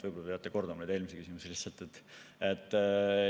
Võib-olla te peate neid eelmisi küsimusi kordama.